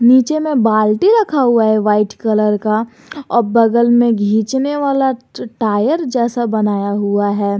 नीचे में बाल्टी रखा हुआ है वाइट कलर का और बगल में खींचने वाला टायर जैसा बनाया हुआ है।